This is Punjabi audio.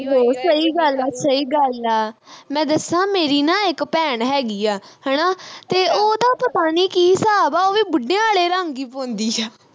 ਸਹੀ ਗੱਲ ਆ ਸਹੀ ਗੱਲ ਆ ਮੈਂ ਦੱਸਾਂ ਮੇਰੀ ਨਾ ਇਕ ਭੈਣ ਹੈਗੀ ਆ ਹਣਾ ਤੇ ਉਹ ਦਾ ਪਤਾ ਨੀ ਕੀ ਹਿਸਾਬ ਵਾ ਉਹ ਵੀ ਬੁੱਢਿਆ ਵਾਲੇ ਰੰਗ ਈ ਪਾਉਂਦੀ ਆ